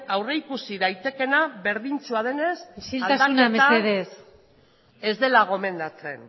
aurrikusi daitekeena berdintsua denez aldaketa ez dela gomendatzen